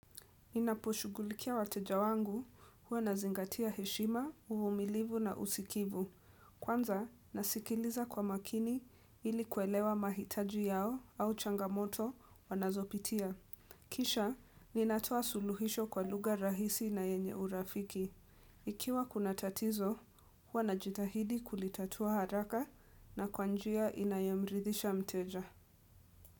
Ninaposhughulikia wateja wangu huwa nazingatia heshima umumilivu na usikivu Kwanza nasikiliza kwa makini ili kuelewa mahitaji yao au changamoto wanazopitia Kisha ninatoa suluhisho kwa lugha rahisi na yenye urafiki Ikiwa kuna tatizo huwa najitahidi kulitatua haraka na kwa njia inayomridisha mteja.